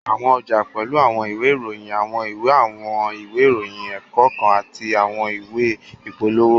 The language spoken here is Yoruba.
Àwọn ọjà pẹ́lú àwọn ìwé ìròyìn, àwọn ìwé àwọn ìwé ìròyìn ẹ̀kọ́ kan àti àwọn ìwé ìpolówó